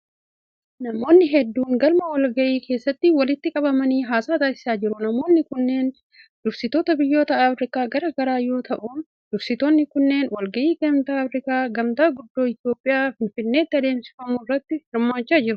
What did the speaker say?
Namoonni hedduun galma walga'ii keessatti walitti qabamanii haasa'a taasisaa jiru. Namoonni kunneen dursitoota biyyoota Afriikaa garaa garaa yoo ta'uun, dursitoonni kunneen walga'ii gamtaa Afriikaa magaala guddoo Itoophiyaa Finfinneetti adeemsifsmu irratti hirmaachaa jiru.